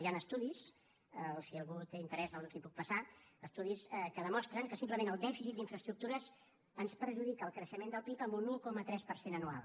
hi han estudis si algú hi té interès els hi puc passar que demostren que simplement el dèficit d’infraestructures ens perjudica el creixement del pib en un un coma tres per cent anual